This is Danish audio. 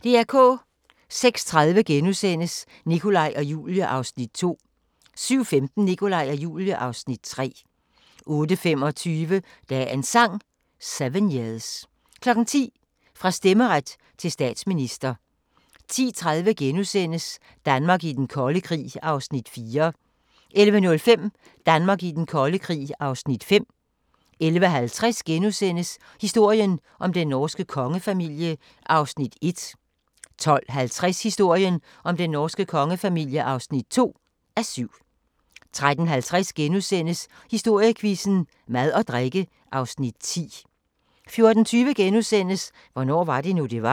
06:30: Nikolaj og Julie (Afs. 2)* 07:15: Nikolaj og Julie (Afs. 3) 08:25: Dagens Sang: 7 years 10:00: Fra stemmeret til statsminister 10:30: Danmark i den kolde krig (Afs. 4)* 11:05: Danmark i den kolde krig (Afs. 5) 11:50: Historien om den norske kongefamilie (1:7)* 12:50: Historien om den norske kongefamilie (2:7) 13:50: Historiequizzen: Mad og drikke (Afs. 10)* 14:20: Hvornår var det nu, det var? *